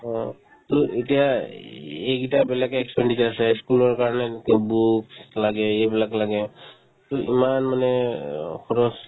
অ, to এতিয়াই ই~ এইকেইটা বেলেগকে expenditure আছে school ৰ কাৰণে to books লাগে এইবিলাক লাগে ই ~ ইমান মানে অ খৰচ